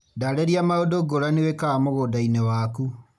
Ndarĩria maũndũ ngũrani wĩkaga mũgũnda-inĩ waku.